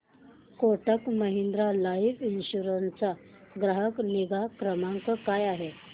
Kotak Mahindra life insurance चा ग्राहक निगा क्रमांक काय आहे